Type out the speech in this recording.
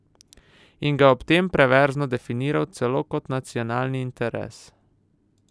In ga je ob tem perverzno definiral celo kot nacionalni interes!